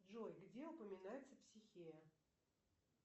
джой где упоминается психея